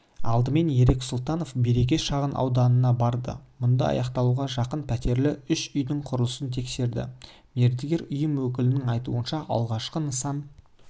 алдымен ерік сұлтанов береке шағын ауданына барды мұнда аяқталуға жақын пәтерлі үш үйдің құрылысын тексерді мердігер ұйым өкілінің айтуынша алғашқы нысан